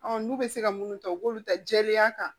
n'u bɛ se ka munnu ta u b'olu ta jɛlenya kan